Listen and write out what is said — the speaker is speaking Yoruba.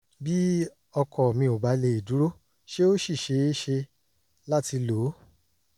bí ọkọ mi ò bá lè dúró ṣé ó ṣì ṣeé ṣe láti lò ó?